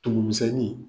Tumumisɛnnin